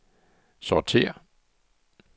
sortér